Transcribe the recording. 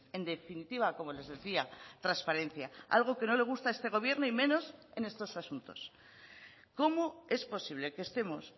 en definitiva como les decía transparencia algo que no le gusta a este gobierno y menos en estos asuntos cómo es posible que estemos